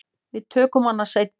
Við tökum hana seinna.